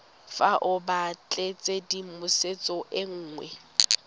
fa o batlatshedimosetso e nngwe